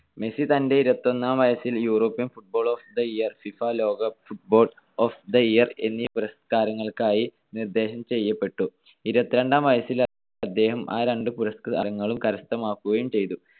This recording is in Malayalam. മെസ്സി തന്റെ ഇരുപത്തിയൊന്നാം വയസ്സിൽ European footballer of the year, FIFA ലോക Footballer of the year, എന്നീ പുരസ്കാരങ്ങൾക്കായി നിർദ്ദേശം ചെയ്യപ്പെട്ടു. ഇരുപത്തിരണ്ടാം വയസ്സിൽ അദ്ദേഹം ആ രണ്ടു പുരസ്കാരങ്ങളും കരസ്ഥമാക്കുകയും ചെയ്തു.